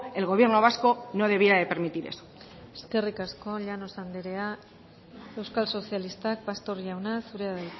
el gobierno vasco no debiera de permitir eso eskerrik asko llanos anderea euskal sozialistak pastor jauna zurea da